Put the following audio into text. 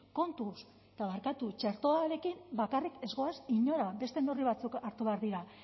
kontuz eta barkatu txertoarekin bakarrik ez goaz inora beste neurri batzuk hartu behar dira